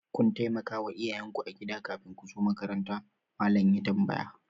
Kun taimakawa iyayen ku agida kafin ku zo makaranta? Mallam ya tambaya.